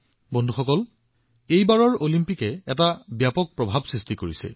বন্ধুসকল এইবাৰ অলিম্পিকে এক বৃহৎ প্ৰভাৱৰ সৃষ্টি কৰিছে